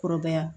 Kɔrɔbaya